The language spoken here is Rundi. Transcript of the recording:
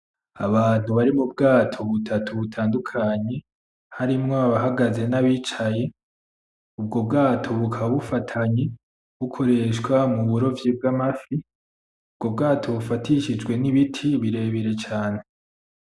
Abantu bari mu bwato butatu butandukanye harimwo abahagaze n'abicaye, ubwo bwato bukaba bufatanye bukoreshwa mu burovyi bw'amafi, ubwo bwato bufatishijwe n'ibiti birebire cane.